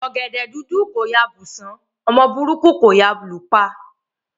Ọ̀gẹ̀dẹ̀ dúdú kò yá bù sàn, ọmọ burúkú kò yá lù pa.